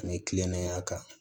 Ani kilennenya kan